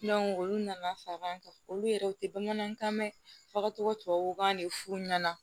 olu nana far'an kan olu yɛrɛ o tɛ bamanankan mɛn fagacogo tubabukan de f'u ɲɛna